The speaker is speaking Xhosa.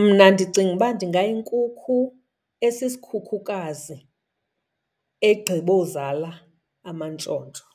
Mna ndicinga uba ndingayinkukhu esisikhukhukazi egqibozala amantshontsho